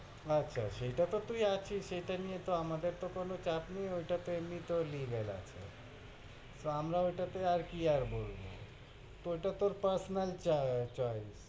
আচ্ছা, সেটা তহ তুই আছিস, সেটা নিয়ে আমাদের তহ কোনো চাপ নেই, ওইটা তো এমনি তেই legal আছে, তো আমরা ওটাতে আর কি আর বলব, তহ এটা তোর personal ch~choice.